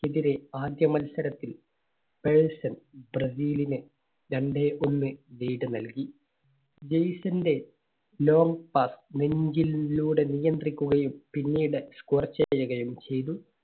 എതിരെ ആദ്യ മത്സരത്തിൽ ബ്രസീലിനെ രണ്ടേ ഒന്ന് lead നൽകി. ജെയ്സന്റെ long pass നെഞ്ചിലൂ~ലൂടെ നിയന്ത്രിക്കുകയും പിന്നീട് score ചെയ്യുകയും ചെയ്തു.